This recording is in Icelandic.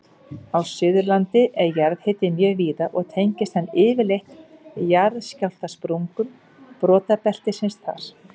Á Suðurlandi er jarðhiti mjög víða og tengist hann yfirleitt jarðskjálftasprungum brotabeltisins þar.